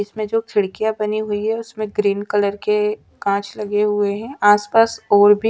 इसमे जो खिड़कियाँ बनी हुई है उसमे ग्रीन कलर के कांच लगे हुए हैं आसपास और भी--